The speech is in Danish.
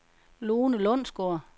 Lone Lundsgaard